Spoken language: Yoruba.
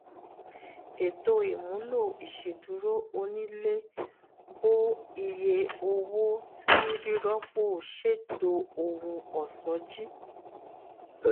eto imulo iṣeduro onile bo iye owo ti rirọpo ṣeto ohun ọṣọ ji